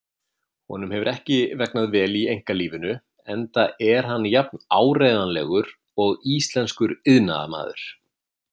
Honum hefur ekki vegnað vel í einkalífinu enda er hann jafn áreiðanlegur og íslenskur iðnaðarmaður.